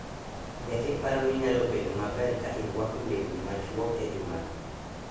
Be iparo ni nyalo bedo maber ka irwako lewni machuok e jumano?